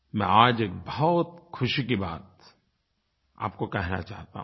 मैं आज एक बहुत ख़ुशी की बात आपको कहना चाहता हूँ